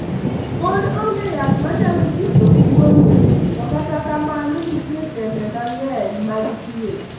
Podi onge yath manyalo thiedho tuoni to kata kamano nitie tembe mang'eny mag thieth.